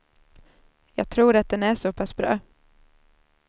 Jag tror att den är så pass bra.